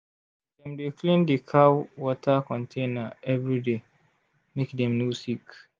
dem dey clean the cow water container every day make dem no sick